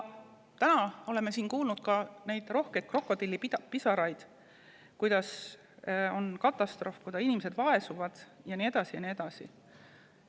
Täna oleme siin kuulnud, rohkelt krokodillipisaraid, et käes on katastroof, et inimesed vaesuvad ja nii edasi ja nii edasi.